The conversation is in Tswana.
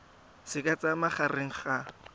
se ka tsayang magareng ga